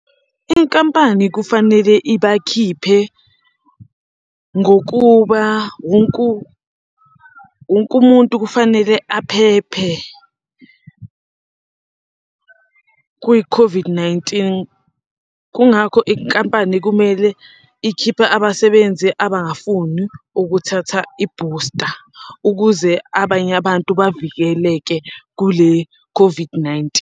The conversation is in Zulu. Inkampani kufanele ibakhiphe ngokuba wonke umuntu kufanele aphephe kwi-COVID-19. Kungakho inkampani kumele ikhiphe abasebenzi abangafuni ukuthatha ibooster ukuze abanye abantu bavikeleke kule COVID-19.